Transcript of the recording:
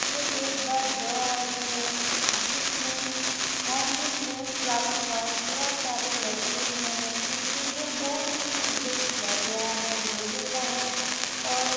यह एक द ब्रो हाउस है जिसमें हैंगिंग में फ्लावर वास बहुत सारे लटके हुए हैं इंटीरियर बहुत ही सुंदर किया गया है लोहे का है और--